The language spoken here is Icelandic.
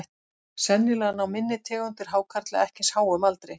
Sennilega ná minni tegundir hákarla ekki eins háum aldri.